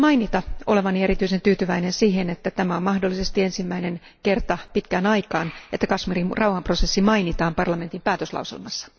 Haluan mainita olevani erityisen tyytyväinen siihen, että tämä on mahdollisesti ensimmäinen kerta pitkään aikaan, kun Kashmirin rauhanprosessi mainitaan Euroopan parlamentin päätöslauselmassa.